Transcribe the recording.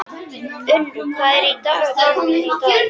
Unnur, hvað er í dagatalinu mínu í dag?